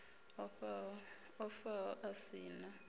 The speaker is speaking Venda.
o faho a si na